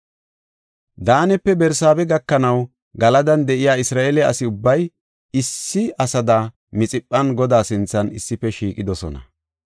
Daanepe Barsaabe gakanaw Galadan de7iya Isra7eele asi ubbay issi asada Mixiphan Godaa sinthan issife shiiqidosona.